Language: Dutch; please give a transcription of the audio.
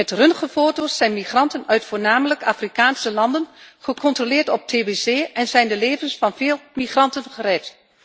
Met röntgenfoto's zijn migranten uit voornamelijk Afrikaanse landen gecontroleerd op tbc en zijn de levens van veel migranten gered.